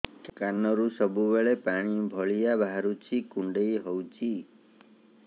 କାନରୁ ସବୁବେଳେ ପାଣି ଭଳିଆ ବାହାରୁଚି କୁଣ୍ଡେଇ ହଉଚି